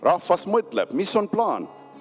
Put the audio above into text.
Rahvas mõtleb: "Mis on plaan?